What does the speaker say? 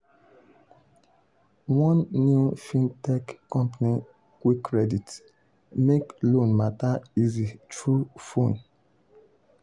one new fintech company quickcredit make loan matter easy through phone.